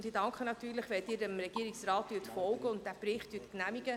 Natürlich danke ich Ihnen, wenn Sie dem Regierungsrat folgen und den Bericht genehmigen.